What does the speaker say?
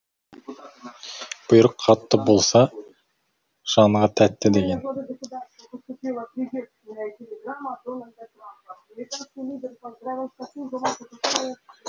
бұйрық қатты болса жанға тәтті деген